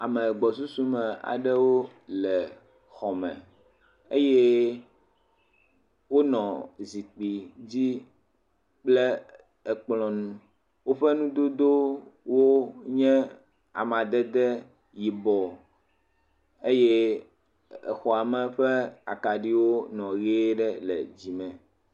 Ame gbɔsusu me aɖewo le xɔ me eye wonɔ zikpui dzi kple ekplɔ nu. Woƒe nudodowo nye amadede yibɔ eye exɔa me ƒe akaɖiwo nɔ ʋie ɖe le dzime.